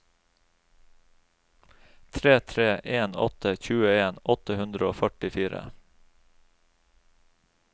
tre tre en åtte tjueen åtte hundre og førtifire